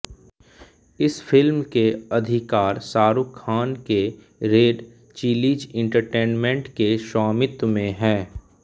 इस फिल्म के अधिकार शाहरुख खान के रेड चिलीज़ एंटरटेनमेंट के स्वामित्व में हैं